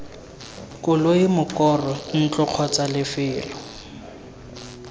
koloi mokoro ntlo kgotsa lefelo